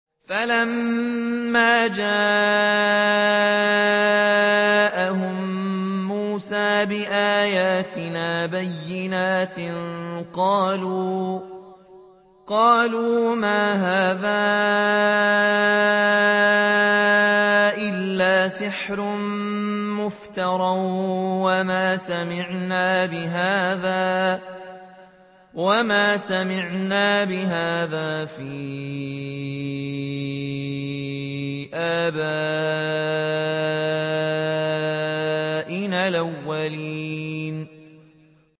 فَلَمَّا جَاءَهُم مُّوسَىٰ بِآيَاتِنَا بَيِّنَاتٍ قَالُوا مَا هَٰذَا إِلَّا سِحْرٌ مُّفْتَرًى وَمَا سَمِعْنَا بِهَٰذَا فِي آبَائِنَا الْأَوَّلِينَ